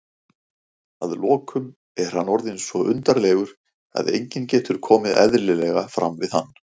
að lokum er hann orðinn svo undarlegur að enginn getur komið eðlilega fram við hann.